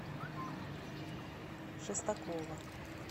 шестакова